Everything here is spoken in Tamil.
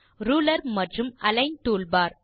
ரூலர் மற்றும் அலிக்ன் டூல்பார்